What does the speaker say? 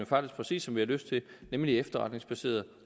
faktisk præcis som vi har lyst til nemlig efterretningsbaseret